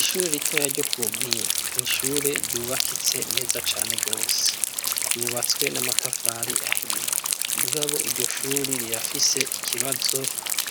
Ishure ritoya ryo ku mpinga nishure ryubakitse neza cane gose. yubatswe n'amatafari ahiye umugabo iryo shuri rirafise ikibazo